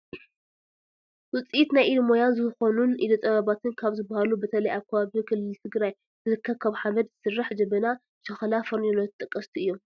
ውፅኢት ናይ ኢድ ሞያ ዝኾኑን ኢደ ጥበባትን ካብ ዝባሃሉ በተለይ ኣብ ከባቢ ክልል ትግራይ ዝርከብ ካብ ሓመድ ዝስራሕ ጀበና፣ ሸክላ ፌርኔሎ ተጠቀስቲ እዮም፡፡